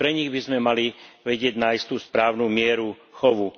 Aj pre nich by sme mali vedieť nájsť tú správnu mieru chovu.